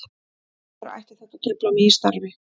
Af hverju ætti þetta að trufla mig í starfi?